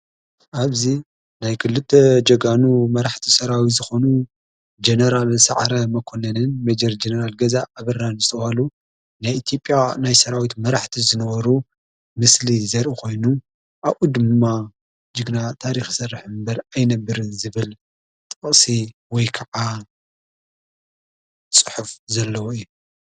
ኣብዚ ናይ ክልተ ጀጋኑ መራሕቲ ሠራዊት ዝኾኑ ጀነራል ሰዕረ መኮነንን መጀር ጀነራል ገዛ ኣብራን ዝተውሃሉ ናይ ኢትዮጴያ ናይ ሠራዊት መራሕቲ ዝነበሩ ምስሊ ዘርእ ኾይኑ ኣኡ ድማ ጅግና ታሪኽ ይሠርሕ እምበር ኣይነብርን ዝብል ጠቕጥ ወይ ከዓ ጽሑፍ ዘለዎ እዩ።